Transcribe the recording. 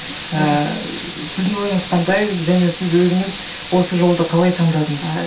ыыы сіздің ойыңыз қандай және сіз өзіңіз осы жолды қалай таңдадыңыз